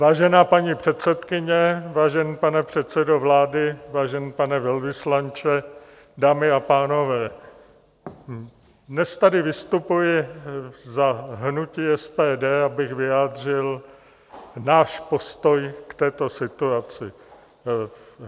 Vážená paní předsedkyně, vážený pane předsedo vlády, vážený pane velvyslanče, dámy a pánové, dnes tady vystupuji za hnutí SPD, abych vyjádřil náš postoj k této situaci.